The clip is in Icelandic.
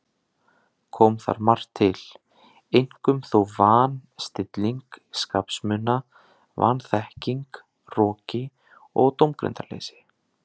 Kom þar margt til, einkum þó van- stilling skapsmuna, vanþekking, hroki og dómgreindarleysi.